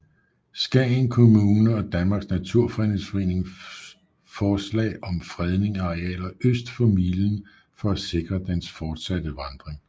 Skagen Kommune og Danmarks Naturfredningsforening forslag om fredning af arealer øst for milen for at sikre dens fortsatte vandring